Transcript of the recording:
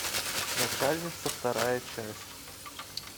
начальница вторая часть